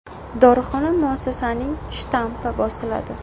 Dorixona muassasasining shtampi bosiladi.